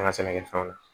An ka sɛnɛkɛfɛnw